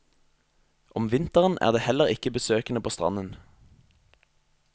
Om vinteren er det heller ikke besøkende på stranden.